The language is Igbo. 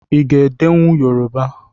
Ị ga-edenwu Yoroba?